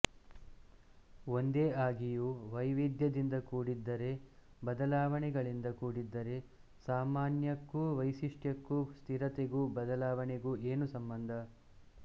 ಒಂದೇ ಆಗಿಯೂ ವೈವಿಧ್ಯದಿಂದ ಕೂಡಿದ್ದರೆ ಬದಲಾವಣೆಗಳಿಂದ ಕೂಡಿದ್ದರೆ ಸಾಮಾನ್ಯಕ್ಕೂ ವೈಶಿಷ್ಟ್ಯಕ್ಕೂ ಸ್ಥಿರತೆಗೂ ಬದಲಾವಣೆಗೂ ಏನು ಸಂಬಂಧ